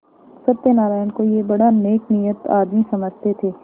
सत्यनाराण को यह बड़ा नेकनीयत आदमी समझते थे